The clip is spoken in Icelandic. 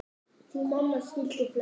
Því mamma skildi flest.